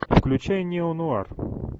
включай неонуар